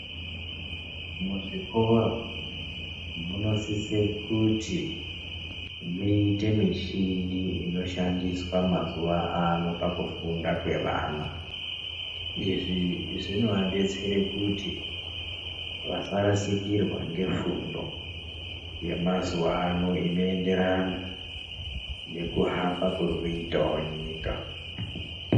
Muzvikora munosise kuti muite muchini inoshandiswa pakufunda kweana, izvi zvinovadetsera kuti vasarasikurwe ngefundi yemazuwa ano inoenderana nekuhamba kuri kuitawo nyika.